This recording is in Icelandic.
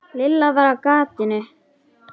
Lilla var á gatinu.